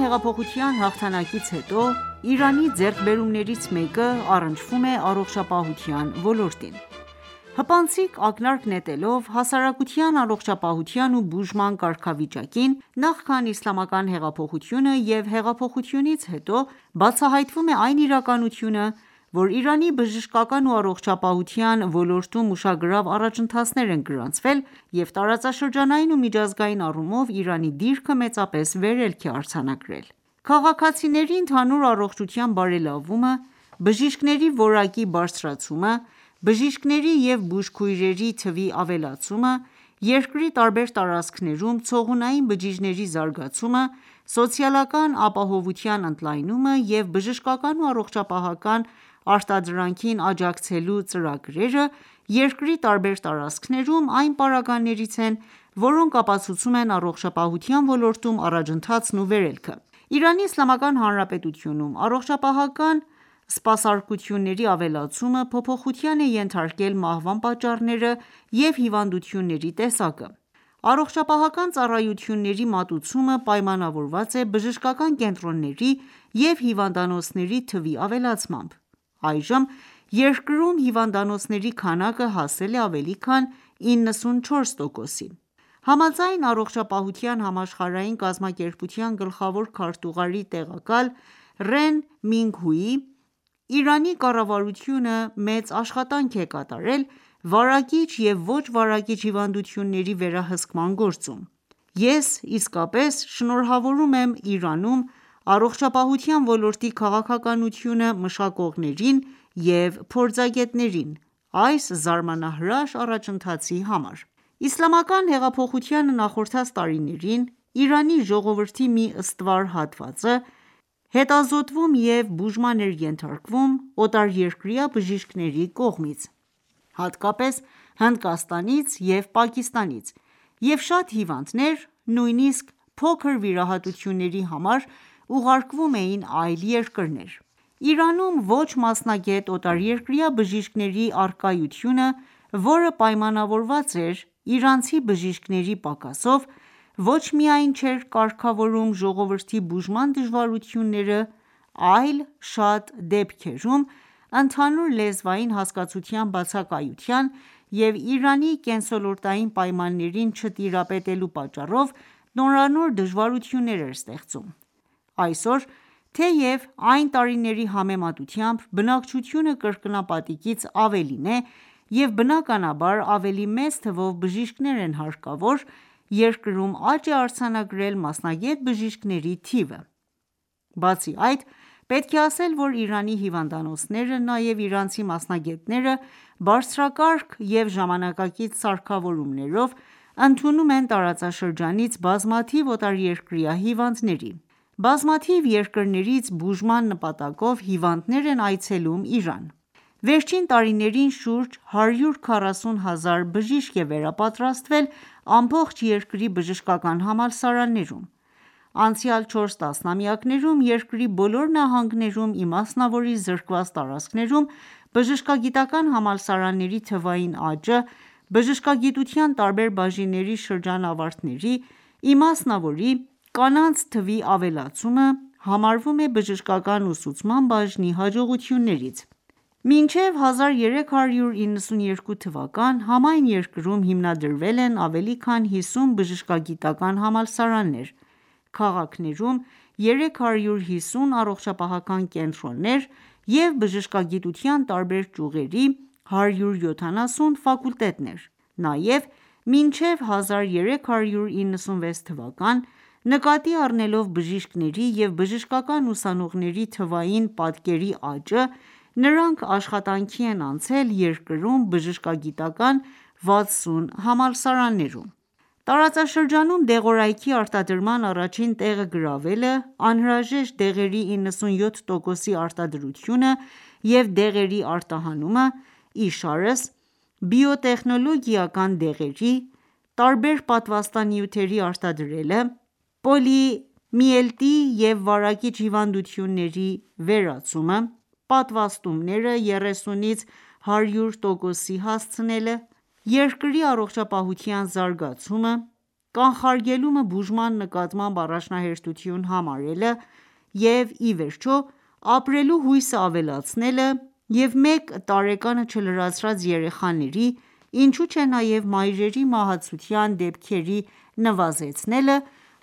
հեղափոխության հաղթանակից հետո Իրանի ձեռքբերումներից մեկը՝առնչվում է առողջապահության ոլորտին: Հպանցիկ ակնարկ նետելով հասարակության առողջապահության ու բուժման կարգավիճակին՝ նախքան Իսլամական հեղափոխությունը և հեղափոխությունից հետո ,բացահայտվում է այն իրականությունը ,որ Իրանի բժշկական ու առողջապահության ոլորտում ուշագրավ առաջընթացներ են գրանցվել և տարածաշրջանային ու միջազգային առումով Իրանի դիրքը մեծապես վերելք է արձանագրել: Քաղաքացիների ընդհանուր առողջության բարելավումը, բժիշկների որակի բարձրացումը, բժիշկների և բուժքույրերի թվի ավելացումը ,երկրի տարբեր տարածքներում, ցողունային բջիջների զարգացումը, սոցիալական ապահովության ընդլայնումը և բժշկական ու առողջապահական արտադրանքին աջակցելու ծրագրերը՝ երկրի տարբեր տարածքներում ,այն պարագաներից են որոնք ապացուցում են առողջապահության ոլորտում առաջընթացն ու վերելքը: Իրանի Իսլամական Հանրապետությունում առողջապահական սպասարկությունների ավելացումը փոփոխության է ենթարկել մահվան պատճառները և հիվանդությունների տեսակը: Առողջապահական ծառայությունների մատուցումը պայմանավորված է բժշկական կենտրոնների և հիվանդանոցների թվի ավելացմամբ:Այժմ երկրում հիվանդանոցների քանակը հասել է ավելի քան 94%-ի։ Համաձայն ,Առողջապահության համաշխարհային կազմակերպության գլխավոր քարտուղարի տեղակալ Ռեն Մինգհուիի .«Իրանի կառավարությունը մեծ աշխատանք է կատարել վարակիչ և ոչ վարակիչ հիվանդությունների վերահսկման գործում։ Ես իսկապես շնորհավորում եմ Իրանում առողջապահության ոլորտի քաղաքականություն մշակողներին և փորձագետներին այս զարմանահրաշ առաջընթացի համար»:. Իսլամական հեղափոխությանը նախորդած տարիներին ,Իրանի ժողովրդի մի ստվար հատվածը հետազոտվում և բուժման էր ենթարկվում օտարերկրյա բժիշկների կողմից, հատկապես՝ Հնդկաստանից և Պակիստանից և շատ հիվանդներ ,նույնիսկ փոքր վիրահատությունների համար ուղարկվում էին այլ երկրներ:Իրանում ոչ մասնագետ օտարերկրյա բժիշկների առկայությունը, որը պայմանավորված էր իրանցի բժիշկների պակասով, ոչ միայն չէր կարգավորում ժողովրդի բուժման դժվարությունները, այլ շատ դեպքերում ընդհանուր լեզվային հասկացության բացակայության և Իրանի կենսոլորտային պայմաններին չտիրապետելու պատճառով ,նորանոր դժվարություններ էր ստեղծում: Այսօր, թեև այն տարիների համեմատությամբ բնակչությունը կրկնապատիկից ավելին է ,և բնականաբար ավելի մեծ թվով բժիշկներն են հարկավոր ,երկրում աճ է արձանագրել մասնագետ բժիշկների թիվը: Բացի այդ, պետք է ասել, որ Իրանի հիվանդանոցները, նաև իրանցի մասնագետները բարձրակարգ և ժամանակակից սարքավորումներով ընդունում են տարածաշրջանից բազմաթիվ օտարերկրյա հիվանդների։ Բազմաթիվ երկրներից բուժման նպատակով հիվանդներ են այցելում Իրան: Վերջին տարիներին շուրջ 140 000 բժիշկ է վերապատրաստվել ամբողջ երկրի բժշկական համալսարաններում:Անցյալ չորս տասնամյակներում, երկրի բոլոր նահանգներում ,իմասնավորի՝ զրկված տարածքներում բժշկագիտական համալսարանների թվային աճը ,բժշկագիտության տարբեր բաժինների շրջանավարտների ,իմասնավորի կանանց թվի ավելացումը ,համարվում է բժշկական ուսուցման բաժնի հաջողություններից: Մինչև 1392 թվական, համայն երկրում հիմնադրվել են ավելի քան 50 բժշկագիտական համալսարաններ, քաղաքներում 350 առողջապահական կենտրոններ,և բժշկագիտության տարբեր ճյուղերի 170 ֆակուլտետներ: Նաև մինչև 1396 թվական ,նկատի առնելով բժիշկների և բժշկական ուսանողների թվային պատկերի աճը ,նրանք աշխատանքի են անցել երկրում բժշկագիտական 60 համալսարաններում: Իրանում առողջապահական զբոսաշրջիկները Տարածաշրջանում դեղորայքի արտադրման առաջին տեղը գրավելը, անհրաժեշտ դեղերի 97 տոկոսի արտադրությունը, և դեղերի արտահանումը ,իշարս բիոտեխնոլոգիական դեղերի ,տարբեր պատվաստանյութերի արտադրելը, պոլիոմիելիտի և վարակիչ հիվանդությունների վերացումը, պատվաստումները 30%-ից 100%-ի հասցնելը, երկրի առողջապահության զարգացումը, կանխարգելումը բուժման նկատմամբ առաջնահերթություն համարելը և իվերջո ապրելու հույսը ավելացնելը և մեկ տարեկանը չլրացրած երեխաների ,ինչու չէ նաև մայրերի մահացության դեպքերի նվազեցնելը,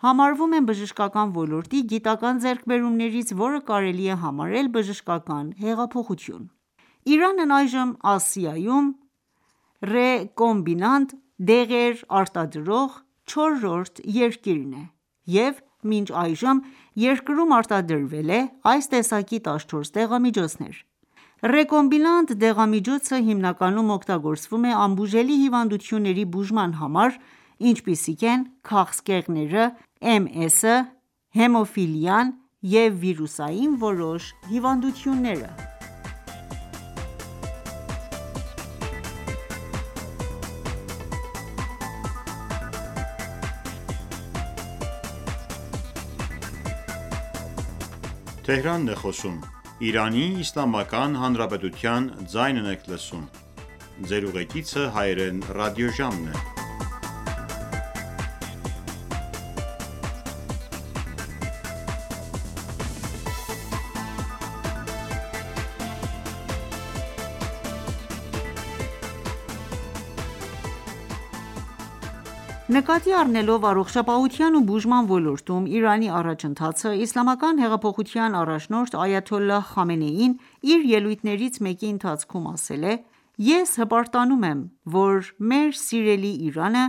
համարվում են բժշկական ոլորտի գիտական ձեռքբերումներից ,որը կարելի է համարել բժշկական հեղափոխություն: Իրանն այժմ Ասիայում ռե կոմբինանտ դեղեր արտադրող չորրորդ երկիրն է և մինչ այժմ երկրում արտադրվել է այս տեսակի 14 դեղամիջոցներ:Ռեկոմբինանտ դեղամիջոցը հիմնականում օգտագործվում է անբուժելի հիվանդությունների բուժման համար, ինչպիսիք են՝ քաղցկեղները, MS, Հեմոֆիլիա և վիրուսային որոշ հիվանդությունները։ Նկատի առնելով առողջապահության ու բուժման ոլորտում Իրանի առաջընթացը, Իսլամական հեղափոխության առաջնորդ այաթոլլահ Խամենեին իր ելույթներից մեկի ընթացքում ասել է.«Ես հպարտանում եմ ,որ մեր սիրելի Իրանը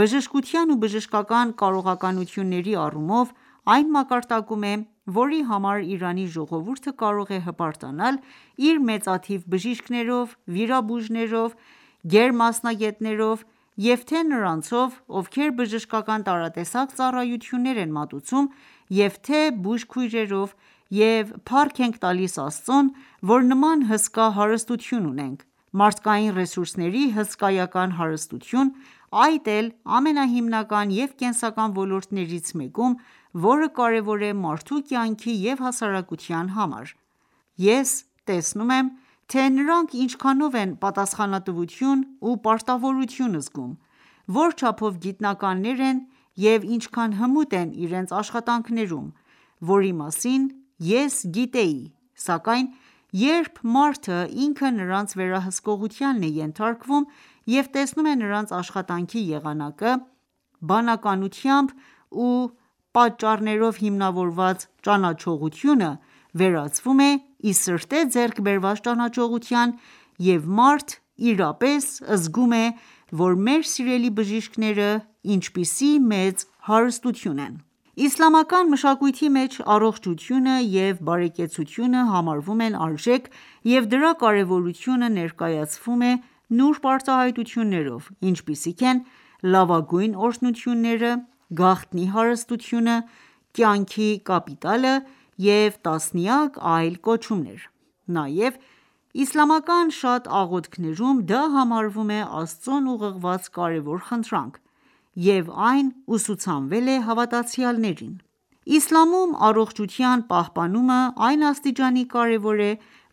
,բժշկության ու բժշկական կարողականությունների առումով այն մակարդակում է ,որի համար Իրանի ժողովուրդը կարող է հպարտանալ իր մեծաթիվ բժիշկներով ,վիրաբույժներով գերմասնագետներով ,և թե նրանցով, ովքեր բժշկական տարատեսակ ծառայություններ են մատուցում ,և թե բուժքույրերով ,և փառք ենք տալիս Աստծուն որ նման հսկա հարստություն ունենք, մարդկային ռեսուրսների հսկայական հարստություն ,այդ էլ ամենահիմնական և կենսական ոլորտներից մեկում, որը կարևոր է մարդու կյանքի և հասարակության համար։ Ես տեսնում եմ թե նրանք ինչքանով են պատասխանատվություն ու պարտավորություն զգում ,որչափով գիտնականներ են և ինչքան հմուտ են իրենց աշխատանքներում ,որի մասին ես գիտեի...,սակայն երբ մարդը ինքը նրանց վերահսկողությանն է ենթարկվում և տեսնում է նրանց աշխատանքի եղանակը ,բանականությամբ ու պատճառներով հիմնավորված ճանաչողությունը վերածվում է ի սրտե ձեռք բերված ճանաչողության և մարդ իրապես զգում է որ մեր սիրելի բժիշկները ինչպիսի մեծ հարստություն են»: Իսլամական մշակույթի մեջ առողջությունը և բարեկեցությունը համարվում են արժեք և դրա կարևորությունը ներկայացվում է նուրբ արտահայտություններով, ինչպիսիք են՝ լավագույն օրհնությունները, գաղտնի հարստությունը, կյանքի կապիտալը և տասնյակ այլ կոչումներ:Նաև իսլամական շատ աղոթքներում դա համարվում է Աստծուն ուղղված կարևոր խնդրանք ,և այն ուսուցանվել է հավատացյալներին: Իսլամում առողջության պահպանումը այն աստիճանի կարևոր է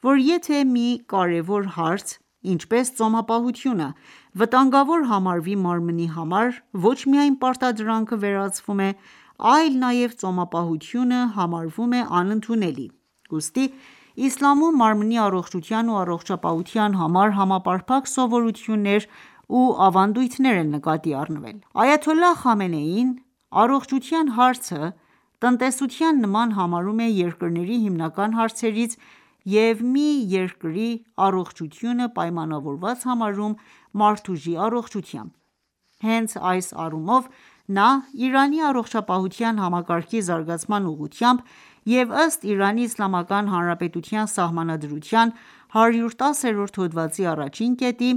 ,որ եթե մի կարևոր հարց ,ինչպես ծոմապահությունը ,վտանգավոր համարվի մարմնի համար ,ոչ միայն պարտադրանքը վերացվում է ,այլ նման ծոմապահություն համարվում է անընդունելի: Ուստի Իսլամում մարմնի առողջության ու առողջապահության համար համապարփակ սովորություններ ու ավանդույթներ են նկատի առնվել: Այաթոլլահ Խամենեին ,առողջության հարցը ,տնտեսության նման համարում է երկրների հիմնական հարցերից և մի երկրի առողջությունը պայմանավորված համարում մարդուժի առողջությամբ: Հենց այս առումով ,նա Իրանի առողջապահության համակարգի զարգացման ուղղությամբ և ըստ Իրանի Իսլամական Հանրապետության Սահմանադրության 110-րդ հոդվածի առաջին կետի,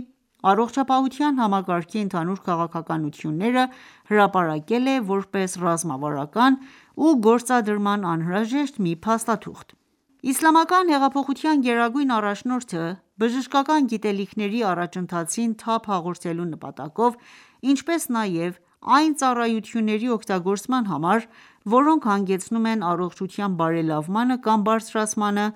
առողջապահության համակարգի ընդհանուր քաղաքականությունները հրապարակել է, որպես ռազմավարական ու գործադրման անհրաժեշտ մի փաստաթուղթ: Իսլամական հեղափոխության գերագույն առաջնորդը, բժշկական գիտելիքների առաջընթացին թափ հաղորդելու նպատակով, ինչպես նաև այն ծառայությունների օգտագործման համար, որոնք հանգեցնում են առողջության բարելավմանը կամ բարձրացմանը,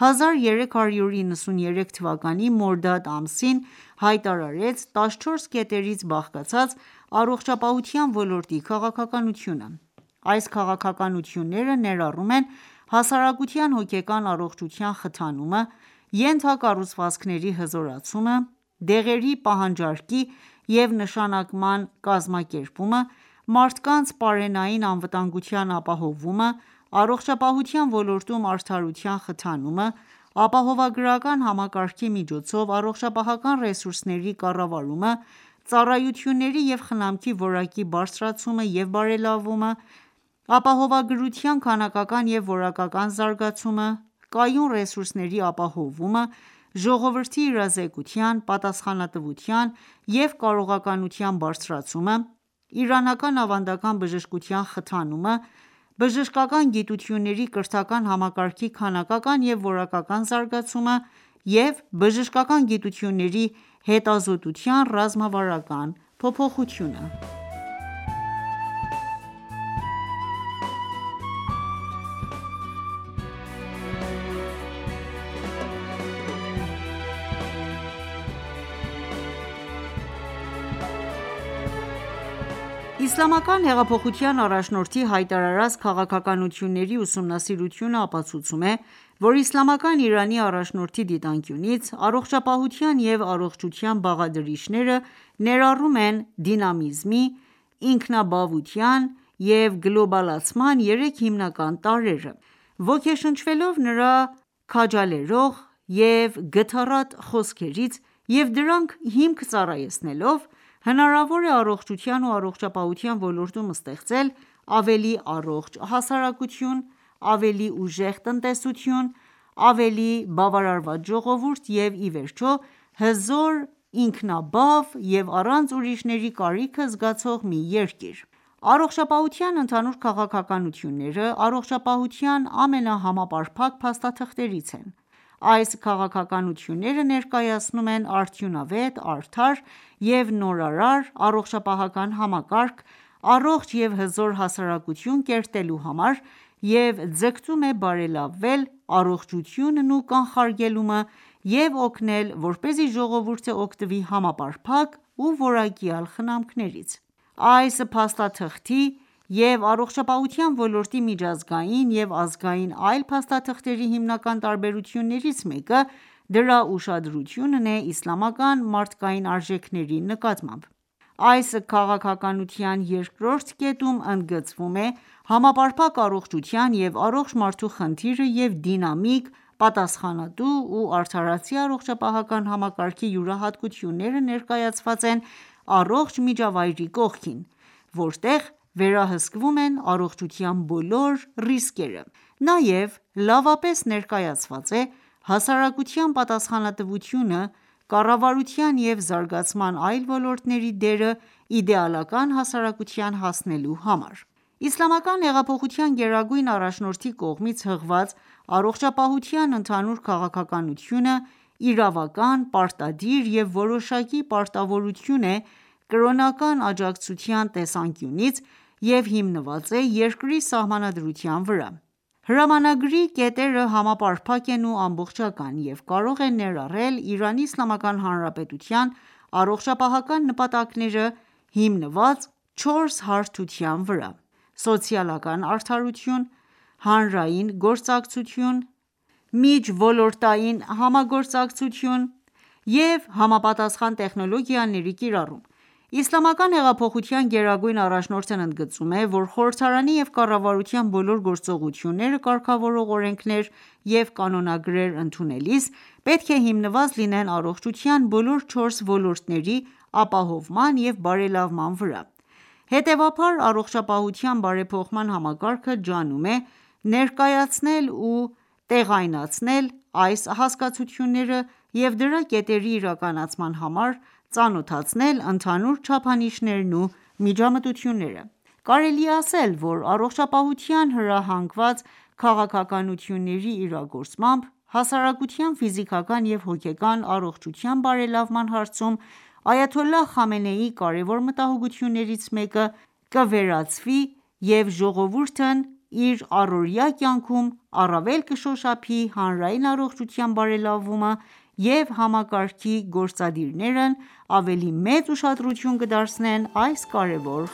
1393 թվականի մորդադ ամսին հայտարարեց 14 կետերից բաղկացած առողջապահության ոլորտի քաղաքականությունը: Այս քաղաքականությունները ներառում են հասարակության հոգեկան առողջության խթանումը, ենթակառուցվածքների հզորացումը, դեղերի պահանջարկի և նշանակման կազմակերպումը, մարդկանց պարենային անվտանգության ապահովումը, առողջապահության ոլորտում արդարության խթանումը, ապահովագրական համակարգի միջոցով առողջապահական ռեսուրսների կառավարումը, ծառայությունների և խնամքի որակի բարձրացումը և բարելավումը, ապահովագրության քանակական և որակական զարգացումը, կայուն ռեսուրսների ապահովումը ,Ժողովրդի իրազեկության, պատասխանատվության և կարողականության բարձրացումը, իրանական ավանդական բժշկության խթանումը, բժշկական գիտությունների կրթական համակարգի քանակական և որակական զարգացումը և բժշկական գիտությունների հետազոտության ռազմավարական փոփոխությունը: Իսլամական հեղափոխության առաջնորդի հայտարարած քաղաքականությունների ուսումնասիրությունը ապացուցում է, որ Իսլամական Իրանի առաջնորդի դիտանկյունից, առողապահության և առողջության բաղադրիչները ներառում են դինամիզմի, ինքնաբավության և գլոբալացման երեք հիմնական տարրերը:Ոգեշնչվելով նրա քաջալերող և գթառատ խոսքերից և դրանք հիմք ծառայեցնելով ,հնարավոր է առողջության ու առողջապահության ոլորտում ստեղծել ավելի առողջ հասարակություն, ավելի ուժեղ տնտեսություն, ավելի բավարարված ժողովուրդ և, ի վերջո, հզոր, ինքնաբավ և առանց ուրիշների կարիքը զգացող մի երկիր։. Առողջապահության ընդհանուր քաղաքականությունները, առողջապահության ամենահամապարփակ փաստաթղթերից են: Այս քաղաքականությունները ներկայացնում են արդյունավետ, արդար և նորարար առողջապահական համակարգ, առողջ և հզոր հասարակություն կերտելու համար և ձգտում է բարելավել առողջությունն ու կանխարգելումը և օգնել ,որպեսզի ժողովուրդը օգտվի համապարփակ ու որակյալ խնամքներից:Այս փաստաթղթի և առողջապահության ոլորտի միջազգային և ազգային այլ փաստաթղթերի հիմնական տարբերություններից մեկը ՝դրա ուշադրությունն է իսլամական մարդկային արժեքների նկատմամբ:Այս քաղաքականության երկրորդ կետում ընդգծվում է համապարփակ առողջության և առողջ մարդու խնդիրը և դինամիկ, պատասխանատու ու արդարացի առողջապահական համակարգի յուրահատկությունները ներկայացված են առողջ միջավայրի կողքին, որտեղ վերահսկվում են առողջության բոլոր ռիսկերը:Նաև լավապես ներկայացված է՝ հասարակության պատասխանատվությունը, կառավարության և զարգացման այլ ոլորտների դերը իդեալական հասարակության հասնելու համար։ Իսլամական հեղափոխության գերագույն առաջնորդի կողմից հղված առողջապահության ընդհանուր քաղաքականությունը իրավական, պարտադիր և որոշակի պարտավորություն է՝ կրոնական աջակցության տեսանկյունից և հիմնված է երկրի Սահմանադրության վրա:Հրամանագրի կետերը համապարփակ են ու ամբողջական և կարող են ներառել Իրանի Իսլամական Հանրապետության առողջապահական նպատակները՝ հիմնված չորս հարթության վրա՝ սոցիալական արդարություն, հանրային գործակցություն, միջոլորտային համագործակցություն և համապատասխան տեխնոլոգիաների կիրառում:Իսլամական հեղափոխության գերագույն առաջնորդն ընդգծում է, որ խորհրդարանի և կառավարության բոլոր գործողությունները կարգավորող օրենքներ և կանոնակարգեր ընդունելիս պետք է հիմնված լինեն առողջության բոլոր չորս ոլորտների ապահովման և բարելավման վրա:Հետևաբար ,առողջապահության բարեփոխման համակարգը ջանում է ,ներկայացնել ու տեղայնացնել այս հասկացությունները և դրա կետերի իրականացման համար ծանոթացնել ընդհանուր չափանիշներն ու միջամտությունները: Կարելի է ասել ,որ առողջապահության հրահանգված քաղաքականությունների իրագործմամբ ,հասարակության ֆիզիկական և հոգեկան առողջության բարելավման հարցում այաթոլլահ Խամենեիի կարևոր մտահոգություններից մեկը կվերացվի և ժողովուրդըն իր առօրյա կյանքում առավել կշոշափի հանրային առողջության բարելավումը և համակարգի գործադիրներն ավելի մեծ ուշադրություն կդարձնեն այս կարեւոր